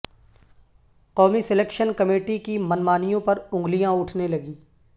قومی selection committee کی من مانیوں پر انگلیاں اٹھنے لگیں